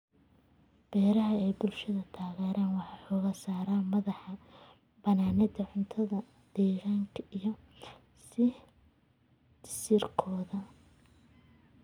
Beeraha ay bulshadu taageerto waxay xooga saaraan madax banaanida cuntada deegaanka iyo sii jiristooda.